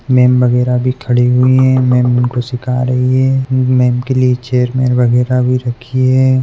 '' Ma'am बगेरा भी खड़ी हुई है मेम उनको सिखा रही है मेम के लिए चेयर मेज वगेरा भी रखी है। ''